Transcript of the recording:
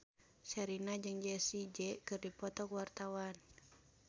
Sherina jeung Jessie J keur dipoto ku wartawan